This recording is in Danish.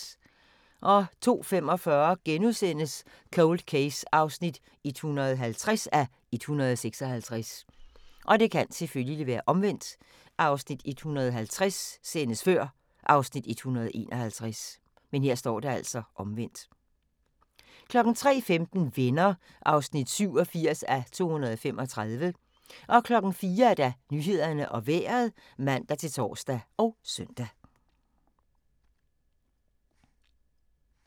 02:25: Cold Case (150:156)* 03:15: Venner (87:235) 04:00: Nyhederne og Vejret (man-tor og søn)